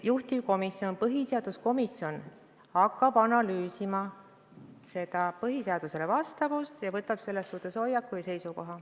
Juhtivkomisjon ehk põhiseaduskomisjon hakkab analüüsima põhiseadusele vastavust ja võtab selles suhtes seisukoha.